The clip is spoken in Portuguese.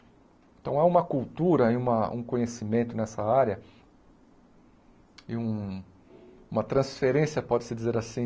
Então, há uma cultura e uma um conhecimento nessa área e um uma transferência, pode-se dizer assim,